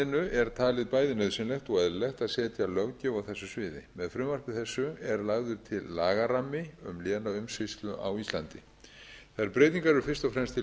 er talið bæði nauðsynlegt og eðlilegt að setja löggjöf á þessu sviði með frumvarpi þessu er lagður til lagarammi um lénaumsýslu á íslandi þær breytingar eru fyrst og fremst til komnar